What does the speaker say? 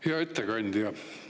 Hea ettekandja!